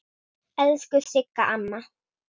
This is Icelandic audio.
Elsku Sigga amma.